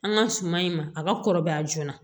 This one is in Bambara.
An ka suman in ma a ka kɔrɔbaya joona